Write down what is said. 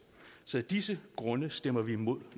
så af disse grunde stemmer vi imod